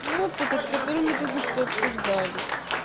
ну вот этот который мы только что обсуждали